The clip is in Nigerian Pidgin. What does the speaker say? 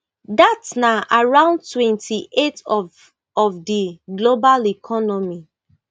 dat na around twenty-eight of of di global economy